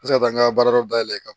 N bɛ se ka taa n ka baarayɔrɔ dayɛlɛn kan